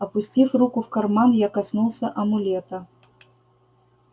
опустив руку в карман я коснулся амулета